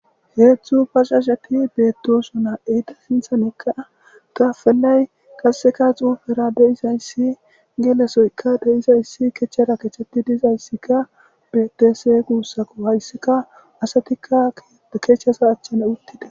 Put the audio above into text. Hezdzdu bajjajet betosona heyita sinththarakka tappelay qasekka xufera deizayis gelosoyikka kacera kacetidayisikka eizayisi betesi gusikko hayisikka asatikka kaceza achara utida